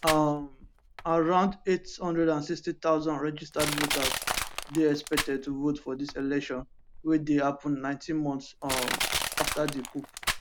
um around 860000 registered voters dey expected to vote for dis election wey dey happun 19 months um afta di coup